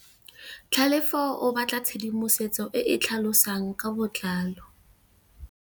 Tlhalefô o batla tshedimosetsô e e tlhalosang ka botlalô.